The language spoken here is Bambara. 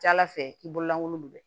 Ca ala fɛ i bololankolon bɛ